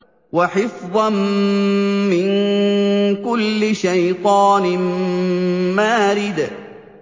وَحِفْظًا مِّن كُلِّ شَيْطَانٍ مَّارِدٍ